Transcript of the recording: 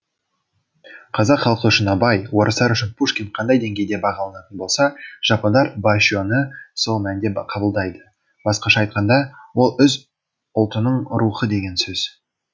қазақ халқы үшін абай орыстар үшін пушкин қандай деңгейде бағаланатын болса жапондар баше ны сол мәнде қабылдайды басқаша айтқанда ол өз ұлтының рухы деген сөз